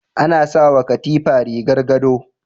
Ana sawa katifa rigar gado